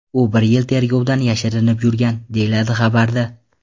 U bir yil tergovdan yashirinib yurgan”, deyiladi xabarda.